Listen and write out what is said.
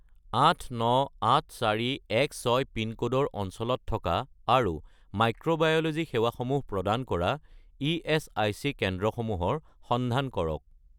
898416 পিনক'ডৰ অঞ্চলত থকা আৰু মাইক্ৰ'বায়'ল'জি সেৱাসমূহ প্ৰদান কৰা ইএচআইচি কেন্দ্ৰসমূহৰ সন্ধান কৰক